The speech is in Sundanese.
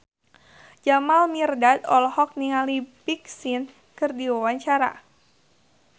Jamal Mirdad olohok ningali Big Sean keur diwawancara